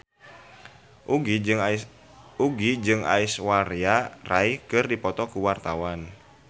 Nugie jeung Aishwarya Rai keur dipoto ku wartawan